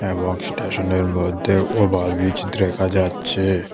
এবং স্টেশনের মধ্যে ওভার ব্রিজ দ্রেখা যাচ্ছে।